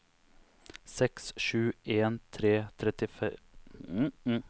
seks sju en tre trettitre fem hundre og nittitre